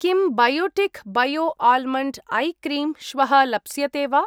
किं Biotique bio almond eye cream श्वः लप्स्यते वा?